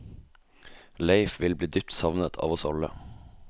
Leif vil bli dypt savnet av oss alle.